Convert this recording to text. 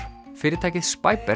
fyrirtækið